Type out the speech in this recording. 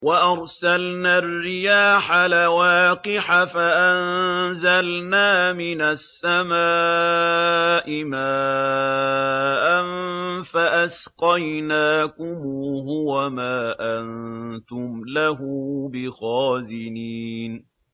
وَأَرْسَلْنَا الرِّيَاحَ لَوَاقِحَ فَأَنزَلْنَا مِنَ السَّمَاءِ مَاءً فَأَسْقَيْنَاكُمُوهُ وَمَا أَنتُمْ لَهُ بِخَازِنِينَ